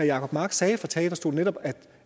jacob mark sagde fra talerstolen netop